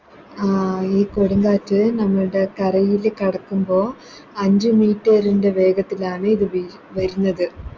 ആ ഈ കൊടുംകാറ്റ് നമ്മൾടെ കരയില് കടക്കുമ്പോ അഞ്ച് Meter ൻറെ വേഗത്തിലാണ് ഇത് വി വരുന്നത്